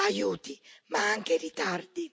Aiuti, ma anche ritardi.